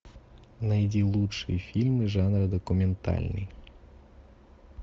найди лучшие фильмы жанра документальный